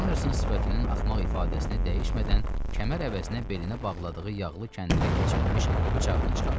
Anderson sifətinin axmaq ifadəsini dəyişmədən, kəmər əvəzinə belinə bağladığı yağlı kəndirə keçirilmiş bıçağını çıxardı.